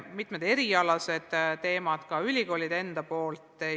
Mitmed erialased teemad leiavad käsitlust ka ülikoolides.